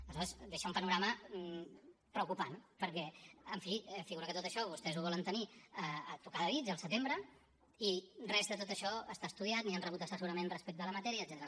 aleshores deixa un panorama preocupant perquè en fi figura que tot això vostès ho volen tenir a tocar de dits al setembre i res de tot això està estudiat ni han rebut assessorament respecte a la matèria etcètera